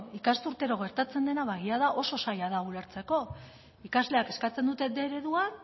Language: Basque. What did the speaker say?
ikasturtero gertatzen dena ba egia da oso zaila da ulertzeko ikasleak eskatzen dute bostehun eredua